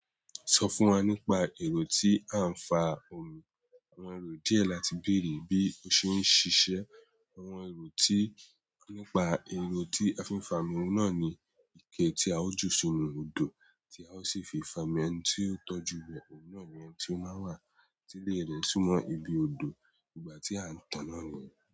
Sọ fún wa nípa èrò tí a ń fa omi. Àwọn èrò díẹ̀ láti bèrè bí o ṣe ń ṣiṣẹ́. Àwọn èrò tí nípa èrò tí a fi ń fa omi náà ni ike tí a ó ju sínú odò tí a ó sì fi fà á omi ẹni tí ó tọ́jú rẹ̀ òhun náà ni eni tí ó máa wà tílè rẹ̀ sumo ibi odò nígbà tí a ń tàn án nìyẹn.